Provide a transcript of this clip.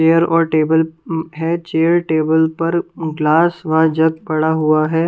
Chair और table अहं है चेयर टेबल पर अहं ग्लास व जग पड़ा हुआ है ।